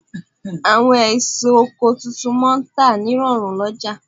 Àwọn èso oko tuntun máà ń tà ní rọ̀rùn lọ́jà